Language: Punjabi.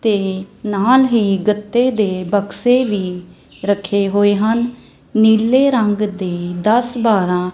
ਤੇ ਨਾਲ ਹੀ ਗੱਤੇ ਦੇ ਬੱਕਸੇ ਵੀ ਰੱਖੇ ਹੋਏ ਹਨ ਨੀਲੇ ਰੰਗ ਦੇ ਦੱਸ ਬਰਾਹਂ।